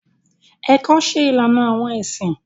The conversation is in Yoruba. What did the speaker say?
Ẹkọ ṣe ìlànà awọn ẹsin.